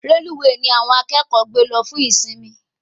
Reluwe ní àwọn akẹ́kọ̀ọ́ gbé lọ fún ìsimi